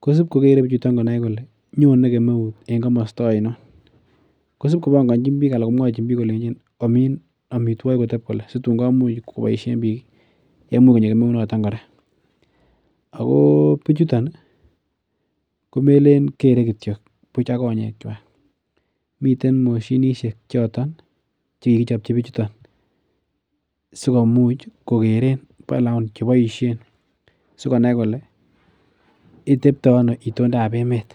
kosibkokere konai bichuton kole nyone kemeut en komosto ainon. Kosibkobanganchin bik kole omin amituakik koteb kole , SI tuun komuch kobaishien bik yeimich konyo kemeunoton kora . Ako bichuton komeleen kere kityo ak konyek kwa miten moshinisiek choton kikichobchi bichuton sikomuch kekeren anan boisien sikonai kole tebta anoo itondab emeet.